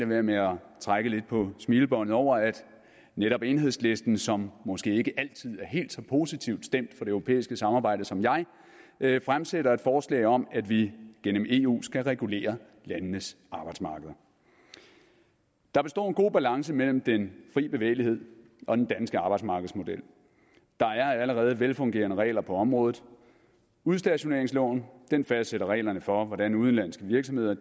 være med at trække lidt på smilebåndet over at netop enhedslisten som måske ikke altid er helt så positivt stemt for det europæiske samarbejde som jeg fremsætter et forslag om at vi gennem eu skal regulere landenes arbejdsmarkeder der består en god balance mellem den frie bevægelighed og den danske arbejdsmarkedsmodel der er allerede velfungerende regler på området udstationeringsloven fastsætter reglerne for hvordan udenlandske virksomheder